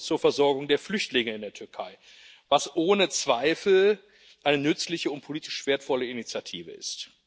zur Versorgung der Flüchtlinge in der Türkei, was ohne Zweifel eine nützliche und politisch wertvolle Initiative ist.